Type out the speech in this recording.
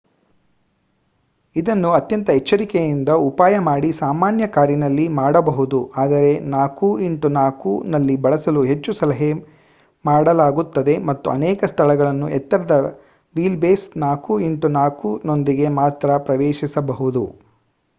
ಇದನ್ನು ಅತ್ಯಂತ ಎಚ್ಚರಿಕೆಯಿಂದ ಉಪಾಯ ಮಾಡಿ ಸಾಮಾನ್ಯ ಕಾರಿನಲ್ಲಿ ಮಾಡಬಹುದು ಆದರೆ 4x4 ನಲ್ಲಿ ಬಳಸಲು ಹೆಚ್ಚು ಸಲಹೆ ಮಾಡಲಾಗುತ್ತದೆ ಮತ್ತು ಅನೇಕ ಸ್ಥಳಗಳನ್ನು ಎತ್ತರದ ವೀಲ್ ಬೇಸ್ 4x4 ನೊಂದಿಗೆ ಮಾತ್ರ ಪ್ರವೇಶಿಸಬಹುದು